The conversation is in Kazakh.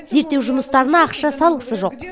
зерттеу жұмыстарына ақша салғысы жоқ